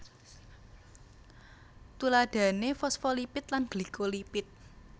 Tuladhané fosfolipid lan glikolipid